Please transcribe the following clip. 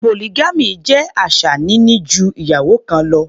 Polygamy jẹ́ àṣà níní ju ìyàwó kan lọ.